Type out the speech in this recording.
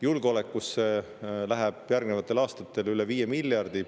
Julgeolekusse läheb järgnevatel aastatel üle 5 miljardi.